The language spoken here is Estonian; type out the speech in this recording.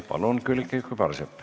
Palun, Külliki Kübarsepp!